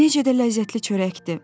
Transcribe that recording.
Necə də ləzzətli çörəkdir!